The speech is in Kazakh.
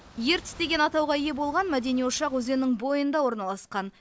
ертіс деген атауға ие болған мәдени ошақ өзеннің бойында орналасқан